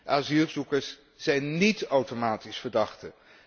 Asielzoekers zijn niet automatisch verdachten.